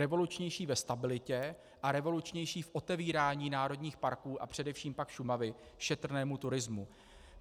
Revolučnější ve stabilitě a revolučnější v otevírání národních parků a především však Šumavy šetrnému turismu.